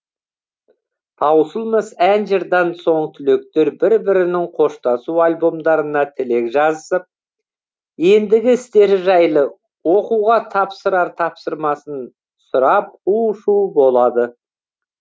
таусылмас ән жырдан соң түлектер бір бірінің қоштасу альбомдарына тілек жазысып ендігі істері жайлы оқуға тапсырар тапсырмасын сұрап у шу болады